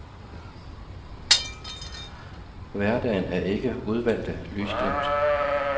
Hverdagen er ikke udvalgte lysglimt.